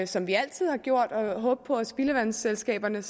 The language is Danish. som vi altid har gjort og håbe på at spildevandsselskaberne